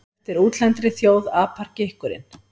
Eftir útlendri þjóð apar gikkurinn.